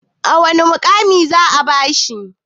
wane mukami za a bashi?